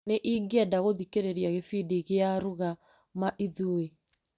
Nĩ ingĩenda gũthikĩrĩria gĩbindi gia ruga ma ithuĩ.